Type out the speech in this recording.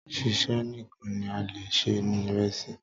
Ṣíṣe nìkan ni a le è se ìresì